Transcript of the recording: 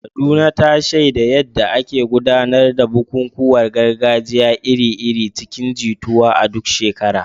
Kaduna, ta shaida yadda ake gudanar da bukukuwan gargajiya iri-iri cikin jituwa a duk shekara.